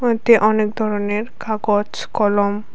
কয়েকটি অনেক ধরনের কাগজ কলম--